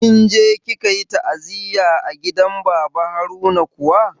Kinje kikayi ta'aziyya a gidan iyalen baba Haruna kuwa?